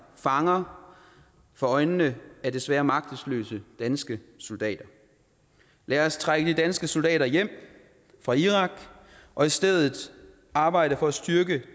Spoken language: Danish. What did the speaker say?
fanger for øjnene af desværre magtesløse danske soldater lad os trække de danske soldater hjem fra irak og i stedet arbejde for at styrke